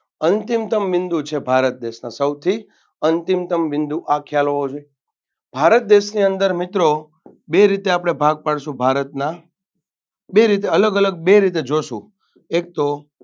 અંતિમતમ બિંદુ છે ભારત દેશ સૌથી અંતિમતમ બિંદુ આ ખ્યાલ હોવો જોઈએ ભારત દેશની અંદર મિત્રો બે રીતે આપણે ભાગ પાડશું ભારતના બે રીતે અલગ અલગ બે રીતે જોશું એકતો